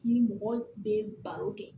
Ni mɔgɔ bɛ baro kɛ